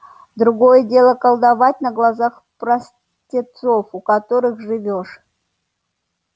другое дело колдовать на глазах простецов у которых живёшь